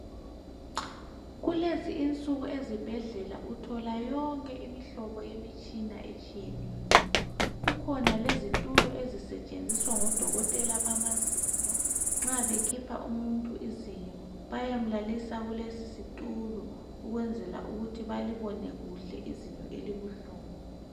Kulezi insuku ezibhedlela uthola yonke imihlobohlobo yemitshina etshiyeneyo kukhona lezitulo ezisetshenziswa ngodokotela bamazinyo nxa bekhipha umuntu izinyo bayamlalisa kulesi situlo ukwenzela ukuthi balibone kuhle izinyo elibuhlungu